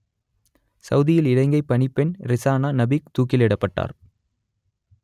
சவூதியில் இலங்கைப் பணிப்பெண் ரிசானா நபீக் தூக்கிலிடப்பட்டார்